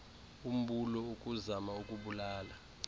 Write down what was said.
umbulo ukuzama ukubulala